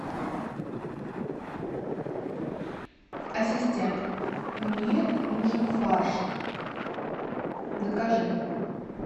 ассистент мне нужен фарш закажи